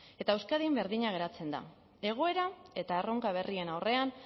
eta euskadin berdina geratzen da egoera eta erronka berrien aurrean